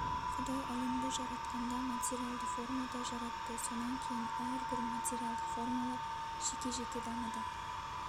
құдай әлемді жаратқанда материалды формада жаратты сонан кейін әрбір материалдық формалар жеке-жеке дамыды